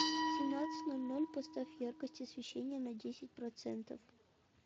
в семнадцать ноль ноль поставь яркость освещения на десять процентов